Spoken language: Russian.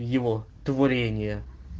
его творение